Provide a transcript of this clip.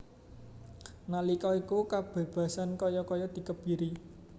Nalika iku kabebasan kaya kaya dikebiri